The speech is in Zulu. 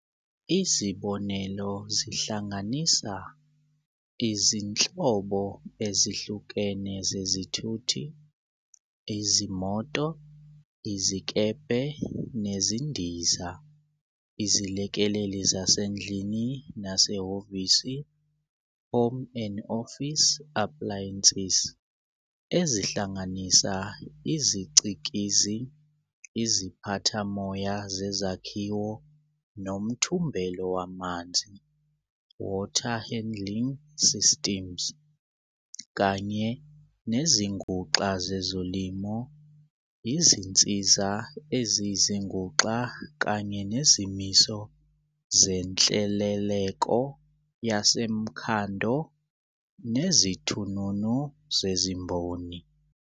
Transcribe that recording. Izibonelo zihlanganisa - izinhlobo ezihlukene zezithuthi, izimoto, izikebhe nezindiza, izilekeleli zasendlini nasehhovisi, home and office appliances, ezihlanganisa izicikizi, iziphathamoya zezakhiwo nomthumbelo wamanzi, water handling systems, kanye nezinguxa zezolimo, izinsiza eziyizinguxa kanye nezimiso zenhleleleko yasemkhando nezithununu zezimboni.